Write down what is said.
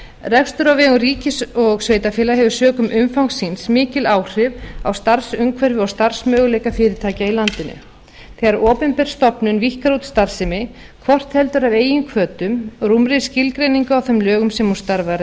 rekstur á vegum ríkis og sveitarfélaga hefur sökum umfangs síns mikil áhrif á starfsumhverfi og starfsmöguleika fyrirtækja í landinu þegar opinber stofnun víkkar út starfsemi hvort heldur er af eigin hvötum eða sökum rúmrar skilgreiningar á þeim lögum sem hún starfar